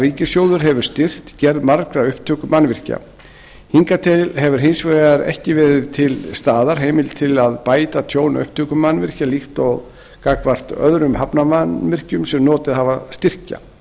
ríkissjóður hefur styrkt gerð margra upptökumannvirkja hingað til hefur hins vegar ekki verið til staðar heimild til þess að bæta tjón upptökumannvirkja líkt og er gagnvart öðrum hafnarmannvirkjum sem notið hafa styrkja